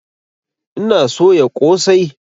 Ina soya ƙosai